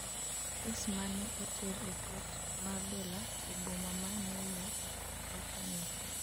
kes mane oter e kot mar dola e boma mae New York wacho ni